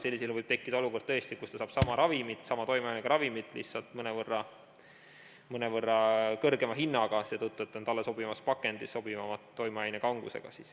Sellisel juhul võib tekkida tõesti olukord, kus ta saab sama toimeainega ravimit lihtsalt mõnevõrra kõrgema hinnaga, seetõttu, et see on talle sobivamas pakendis, toimeaine sobivama kangusega.